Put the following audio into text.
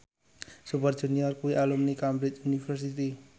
Super Junior kuwi alumni Cambridge University